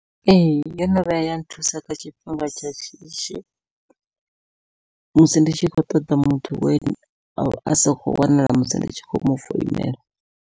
Ee yono vhuya ya nthusa kha tshifhinga tsha shishi musi ndi tshi khou ṱoḓa muthu we avha a sa kho wanala musi ndi tshi khou mufounela.